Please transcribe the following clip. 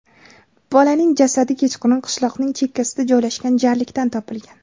Bolaning jasadi kechqurun qishloqning chekkasida joylashgan jarlikdan topilgan.